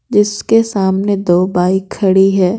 जिसके सामने दो बाइक खड़ी है।